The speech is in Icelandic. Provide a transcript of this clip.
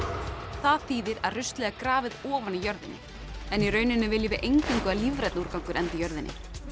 það þýðir að ruslið er grafið ofan í jörðinni í rauninni viljum við eingöngu að lífrænn úrgangur endi í jörðinni